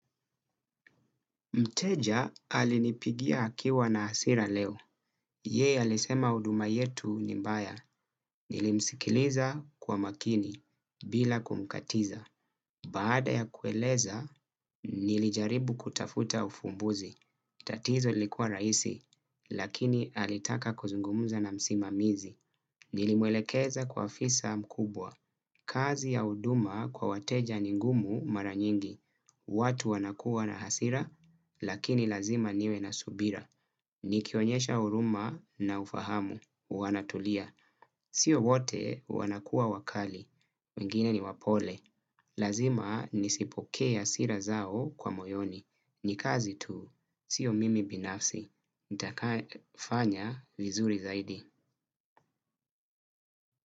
Mteja alinipigia akiwa na hasira leo. Yeye alisema huduma yetu ni mbaya. Nilimsikiliza kwa makini, bila kumkatiza. Baada ya kueleza, nilijaribu kutafuta ufumbuzi. Tatizo lilikua rahisi, lakini alitaka kuzungumza na msimamizi. Nilimwelekeza kwa afisa mkubwa. Kazi ya huduma kwa wateja ni ngumu mara nyingi. Watu wanakuwa na hasira, lakini lazima niwe na subira. Nikionyesha huruma na ufahamu, wanatulia. Sio wote wanakuwa wakali, wengine ni wapole. Lazima nisipokee hasira zao kwa moyoni. Ni kazi tu, sio mimi binafsi nitakaa fanya vizuri zaidi.